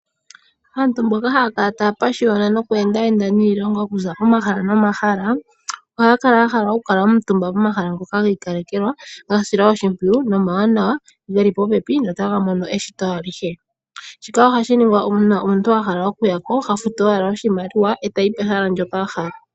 Aantu mbono haya kala taya pashiyona noku endayenda niilongo okuza kohala nomahala ohaya kala ya hala oku kala omutumba pohala ngoka gi ikalekelwa, ga silwa oshimpwiyu nomawawa, geli popepi no taga mono eshito alihe. Shika ohashi ningwa uuna omuntu a hala oku ya ko, ha futu owala oshimaliwa e ta yi pehala ndyoka a hala.